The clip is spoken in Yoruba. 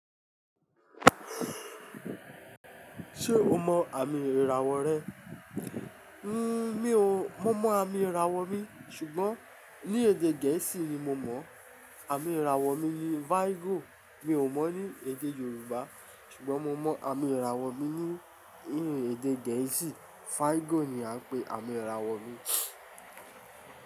Ṣé o mọ àmì ìràwọ̀ rẹ? Mí ò, mo mọ àmì ìràwọ̀ mi, ṣùgbọ́n ní èdè Gẹ̀ẹ́sì ni mo mọ̀. Àmì ìràwọ̀ mi ni Virgo. Mi ò mọ̀ ní èdè Yorùbá, ṣùgbọ́n mo mọ àmì ìràwọ̀ mi ní, ní èdè Gẹ̀ẹ́sì. Virgo ni a ń pè àmì ìràwọ̀ mi.